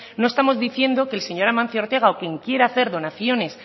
no estamos diciendo que el señor amancio ortega o quien quiera hacer donaciones